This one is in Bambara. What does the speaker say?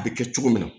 A bɛ kɛ cogo min na